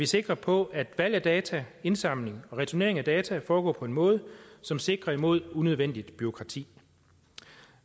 sikre på at valg af data indsamling og returnering af data foregår på en måde som sikrer imod unødvendigt bureaukrati